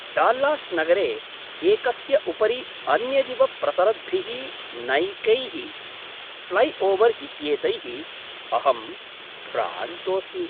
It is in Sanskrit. डाल्लास् नगरे एकस्य उपरि अन्यदिव प्रसरद्भिः नैकैः फ्लैओवर् इत्येतैः अहं भ्रान्तोस्मि।